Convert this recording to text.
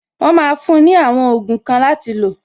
Wọn máa fún ní àwọn ogun kan láti lo